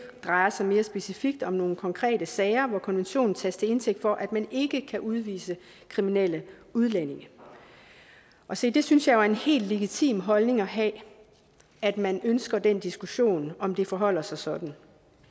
drejer sig mere specifikt om nogle konkrete sager hvor konventionen tages til indtægt for at man ikke kan udvise kriminelle udlændinge se det synes jeg jo er en helt legitim holdning at have at man ønsker den diskussion om det forholder sig sådan